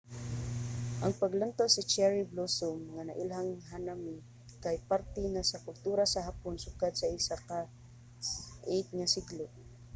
ang paglantaw sa cherry blossom nga nailhang hanami kay parte na sa kultura sa hapon sukad sa ika-8 nga siglo